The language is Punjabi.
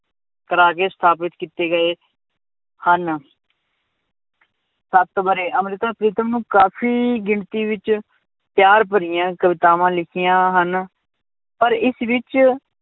ਸਥਾਪਤ ਕੀਤੇ ਗਏ ਹਨ ਸੱਤ ਵਰੇ, ਅੰਮ੍ਰਿਤਾ ਪ੍ਰੀਤਮ ਨੂੰ ਕਾਫ਼ੀ ਗਿਣਤੀ ਵਿੱਚ ਪਿਆਰ ਭਰੀਆਂ ਕਵਿਤਾਵਾਂ ਲਿਖੀਆਂ ਹਨ, ਪਰ ਇਸ ਵਿੱਚ